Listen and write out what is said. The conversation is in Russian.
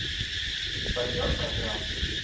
партнёр программы